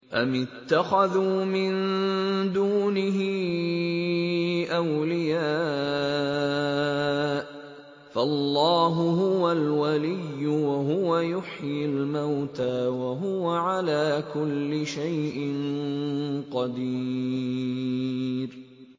أَمِ اتَّخَذُوا مِن دُونِهِ أَوْلِيَاءَ ۖ فَاللَّهُ هُوَ الْوَلِيُّ وَهُوَ يُحْيِي الْمَوْتَىٰ وَهُوَ عَلَىٰ كُلِّ شَيْءٍ قَدِيرٌ